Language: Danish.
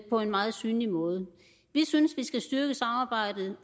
på en meget synlig måde vi synes vi skal styrke samarbejdet